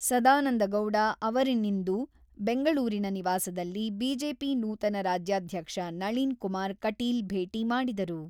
ಸದಾನಂದಗೌಡ ಅವರನ್ನಿಂದು ಬೆಂಗಳೂರಿನ ನಿವಾಸದಲ್ಲಿ ಬಿಜೆಪಿ ನೂತನ ರಾಜ್ಯಾಧ್ಯಕ್ಷ ನಳಿನ್ ಕುಮಾರ್ ಕಟೀಲ್ ಭೇಟಿ ಮಾಡಿದರು.